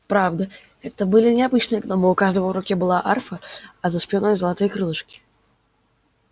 правда это были не обычные гномы у каждого в руке была арфа а за спиной золотые крылышки